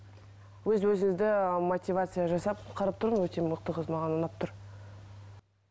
өз өзіңді мотивация жасап қарап тұрмын өте мықты қыз маған ұнап тұр